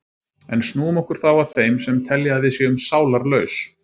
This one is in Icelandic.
En snúum okkur þá að þeim sem telja að við séum sálarlaus.